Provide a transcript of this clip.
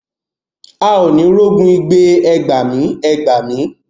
A ó ni rogun igbe ẹ gbàmí, ẹ gbàmí.